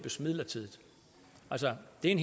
en